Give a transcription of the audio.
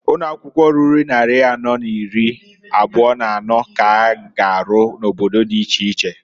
Ụnọakwụkwọ ruru nnarị anọ n'iri abụa n'anọọ k'a ga arụ n'obodo di iche iche.